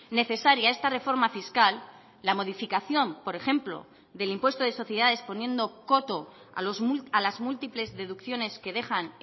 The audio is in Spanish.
necesaria esta reforma fiscal la modificación por ejemplo del impuesto de sociedades poniendo coto a las múltiples deducciones que dejan